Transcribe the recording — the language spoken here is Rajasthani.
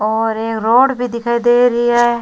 और एक रोड भी दिखाई दे रही है।